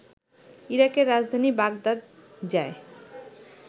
ইরাকের রাজধানী বাগদাদ যায়